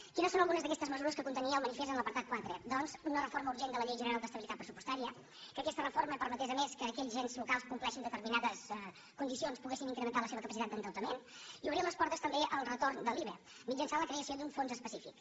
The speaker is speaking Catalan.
quines són algunes d’aquestes mesures que contenia el manifest en l’apartat quatre doncs una reforma urgent de la llei general d’estabilitat pressupostària que aquesta reforma permetés a més que aquells ens locals que compleixen determinades condicions poguessin incrementar la seva capacitat d’endeutament i obrir les portes també al retorn de l’iva mitjançant la creació d’un fons específic